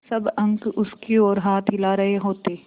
सब अंक उसकी ओर हाथ हिला रहे होते